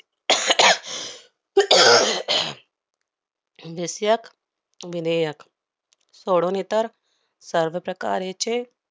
विषयक विधेयक सोडून इतर सर्व प्रकारेचे